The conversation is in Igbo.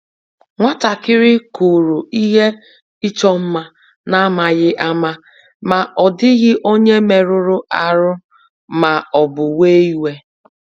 Nwatakịrị kụrụ ihe ịchọ mma n'amaghị ama, ma ọ dịghị onye merụrụ ahụ ma ọ bụ wee iwe